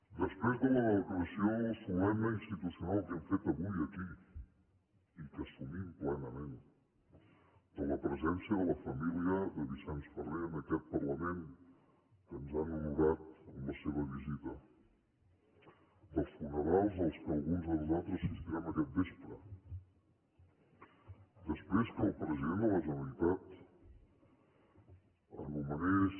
després de la declaració solemne i institucional que hem fet avui aquí i que assumim plenament de la presència de la família de vicenç ferrer en aquest parlament que ens han honorat amb la seva visita dels funerals a què alguns de nosaltres assistirem aquest vespre després que el president de la generalitat nomenés